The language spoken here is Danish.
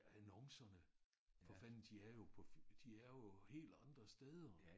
Annoncerne for fanden de er jo på de er jo helt andre steder